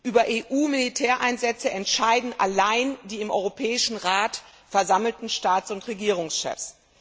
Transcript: Über EU Militäreinsätze entscheiden allein die im Europäischen Rat versammelten Staats und Regierungschefs.